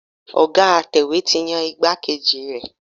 Ọ̀ga atẹ̀wé ti yan igbákejì rẹ̀.